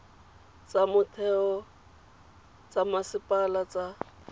tsa motheo tsa masepala tsa